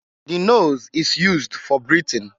The nose is used for breathing.